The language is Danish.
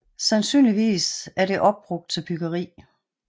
Sandsynligvis er det opbrugt til byggeri